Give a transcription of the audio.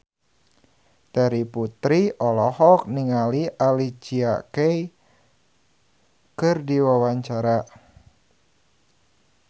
Terry Putri olohok ningali Alicia Keys keur diwawancara